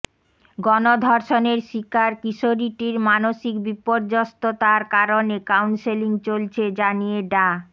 গণধর্ষণের শিকার কিশোরীটির মানসিক বিপর্যস্ততার কারণে কাউন্সেলিং চলছে জানিয়ে ডা